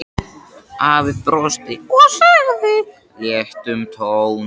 Afi brosti og sagði í léttum tón